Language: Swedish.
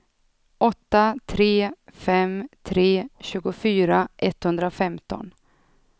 åtta tre fem tre tjugofyra etthundrafemton